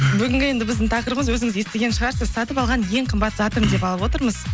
бүгінгі енді біздің тақырыбымыз өзіңіз естіген шығарсыз сатып алған ең қымбат затым деп алып отырмыз